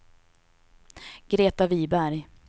Greta Wiberg